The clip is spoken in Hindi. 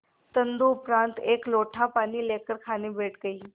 तदुपरांत एक लोटा पानी लेकर खाने बैठ गई